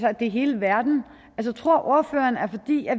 at det er hele verden tror ordføreren at